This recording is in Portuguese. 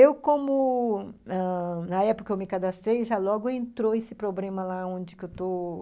Eu como ãh, na época que eu me cadastrei, já logo entrou esse problema lá onde eu estou,